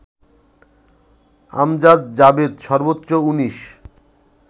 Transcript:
আমজাদ জাভেদ সর্বোচ্চ ১৯